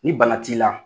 Ni bana t'i la